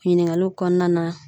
Ɲiningaluw kɔnɔna na